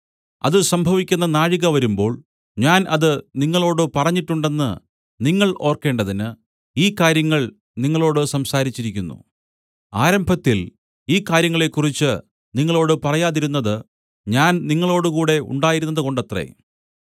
അത് സംഭവിക്കുന്ന നാഴിക വരുമ്പോൾ ഞാൻ അത് നിങ്ങളോടു പറഞ്ഞിട്ടുണ്ടെന്ന് നിങ്ങൾ ഓർക്കേണ്ടതിന് ഈ കാര്യങ്ങൾ നിങ്ങളോടു സംസാരിച്ചിരിക്കുന്നു ആരംഭത്തിൽ ഈ കാര്യങ്ങളെക്കുറിച്ച് നിങ്ങളോടു പറയാതിരുന്നത് ഞാൻ നിങ്ങളോടുകൂടെ ഉണ്ടായിരുന്നതുകൊണ്ടത്രേ